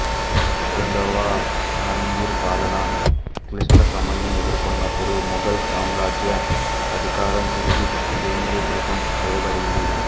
రెండవ ఆలంఘీర్ పాలన క్లిష్టసమయం ఎదుర్కొన్నప్పుడు మొఘల్ సాంరాజ్య అధికారం తిరిగి కేంద్రీకృతం చేయబడింది